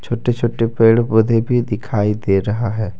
छोटे छोटे पेड़ पौधे भी दिखाई दे रहा है।